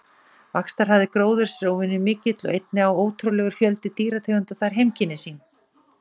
Vaxtarhraði gróðurs er óvenju mikill og einnig á ótrúlegur fjöldi dýrategunda þar heimkynni sín.